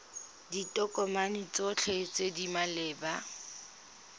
ditokomane tsotlhe tse di maleba